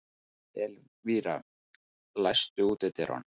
Elvira, læstu útidyrunum.